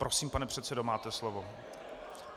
Prosím, pane předsedo, máte slovo.